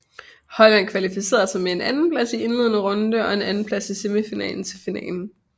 Holland kvalificerede sig med en andenplads i indledende runde og en andenplads i semifinalen til finalen